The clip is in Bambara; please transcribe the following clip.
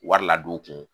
Wari ladon u kun